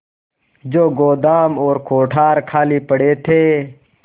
जो गोदाम और कोठार खाली पड़े थे